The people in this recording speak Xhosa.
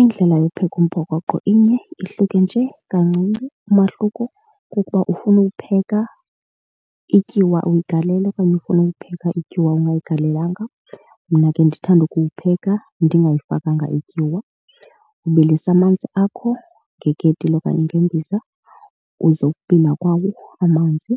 Indlela yokupheka umphokoqo inye, ihluke nje kancinci. Umahluko kukuba ufuna uwupheka ityiwa uyigalele okanye ufuna uwupheka ityuwa ungayigalelanga. Mna ke ndithanda ukuwupheka ndingayifakanga ityiwa. Ubilisa amanzi akho ngeketile okanye ngembiza. Uze ukubila kwawo amanzi